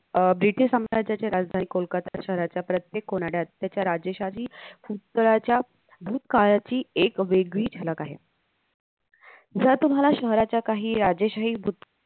अं British साम्र्याजीची राजधानी कोलकाता शहराच्या प्रत्येक कोनाड्यात त्याच्या राजेशाही भूतकळच्या भूतकाळाची एक वेगळी झलक आहे ज्या तुम्हाला शहराच्या राजेशाही